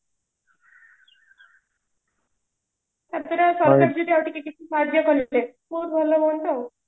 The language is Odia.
ତା ପରେ ପଇସା ପତ୍ରରେ କିଛି ସାହାଯ୍ୟ କଲେ ସେ ବହୁତ ଭଲ ହୁଅନ୍ତା ଆଉ